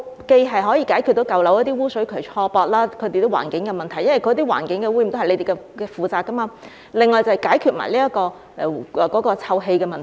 這樣既可解決舊樓污水渠錯駁和環境問題，因為環境污染也是由局方負責的，另外亦可一併解決臭氣的問題。